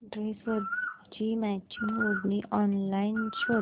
ड्रेसवरची मॅचिंग ओढणी ऑनलाइन शोध